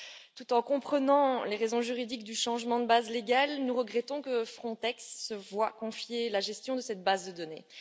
Tout en comprenant les raisons juridiques du changement de base légale, nous regrettons que Frontex se voie confier la gestion de cette base de données.